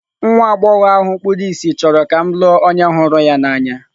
Nwa agbọghọ ahụ kpuru ìsì chọrọ ka m lụọ onye hụrụ ya n'anya.